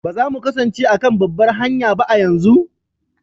Ba za mu kasance a kan babbar hanya ba a yanzu?